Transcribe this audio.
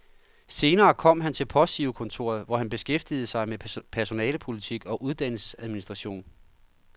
Senere kom han til postgirokontoret, hvor han beskæftigede sig med personalepolitik og uddannelsesadministration.